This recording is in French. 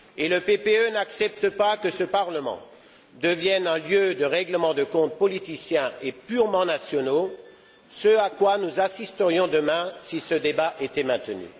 Le PPE n'accepte pas que ce Parlement devienne un lieu de règlement de comptes politiciens et purement nationaux, ce à quoi nous assisterions demain si ce débat était maintenu.